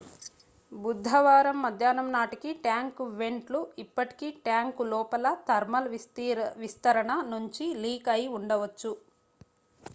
బుధవారం మధ్యాహ్నం నాటికి ట్యాంకు వెంట్ లు ఇప్పటికీ ట్యాంకు లోపల థర్మల్ విస్తరణ నుంచి లీక్ అయి ఉండవచ్చు